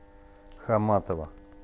хаматова